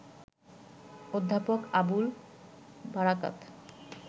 অধ্যাপক আবুল বারাকাত